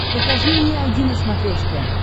покажи мне айди на смотрешке